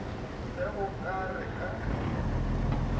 ge go ka re ka